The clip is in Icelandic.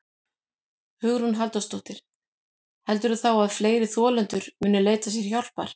Hugrún Halldórsdóttir: Heldurðu þá að fleiri þolendur muni leita sér hjálpar?